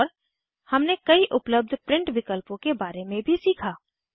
और हमने कई उपलब्ध प्रिंट विकल्पों के बारे में भी सीखा